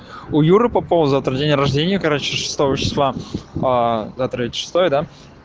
у юры попова завтра день рождения короче шестого числа завтра ведь шестое да